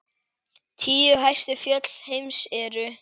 Tíu hæstu fjöll heims eru